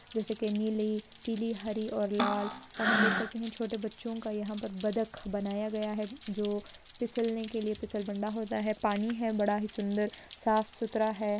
जैसे की नीली पीली हरी और लाल और हम देख सकते है छोटे बच्चों का यहाँ पर बद्क बनाया गया है जो फिसलने के लिए पिसल बंडा होता है पानी है बड़ा ही सुंदर साफ सुथरा है।